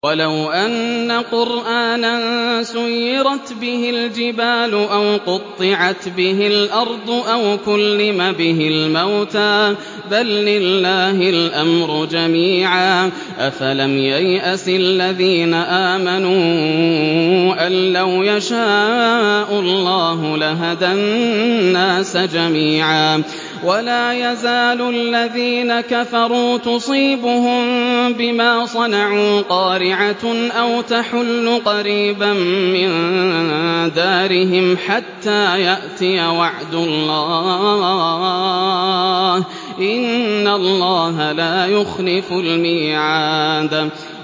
وَلَوْ أَنَّ قُرْآنًا سُيِّرَتْ بِهِ الْجِبَالُ أَوْ قُطِّعَتْ بِهِ الْأَرْضُ أَوْ كُلِّمَ بِهِ الْمَوْتَىٰ ۗ بَل لِّلَّهِ الْأَمْرُ جَمِيعًا ۗ أَفَلَمْ يَيْأَسِ الَّذِينَ آمَنُوا أَن لَّوْ يَشَاءُ اللَّهُ لَهَدَى النَّاسَ جَمِيعًا ۗ وَلَا يَزَالُ الَّذِينَ كَفَرُوا تُصِيبُهُم بِمَا صَنَعُوا قَارِعَةٌ أَوْ تَحُلُّ قَرِيبًا مِّن دَارِهِمْ حَتَّىٰ يَأْتِيَ وَعْدُ اللَّهِ ۚ إِنَّ اللَّهَ لَا يُخْلِفُ الْمِيعَادَ